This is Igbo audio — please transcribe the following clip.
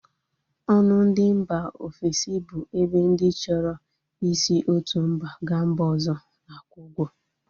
Ọnụ ndị mba ofesi bụ ebe ndị chọrọ i si otu mba ga mba ọzọ na-akwụ ụgwọ